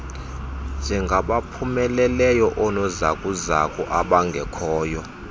njengabaphumeleleyo oonozakuzaku abangekhoyo